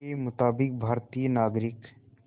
के मुताबिक़ भारतीय नागरिक